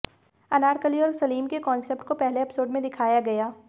अनारकली और सलीम के कांसेप्ट को पहले एपिसोड में दिखाया गया